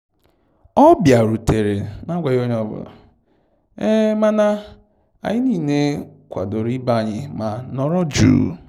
Ọ bịarutere na agwaghị onye ọ bụla, mana anyị niile kwadoro ibe anyị ma nọrọ jụụ